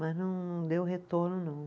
Mas não deu retorno, não.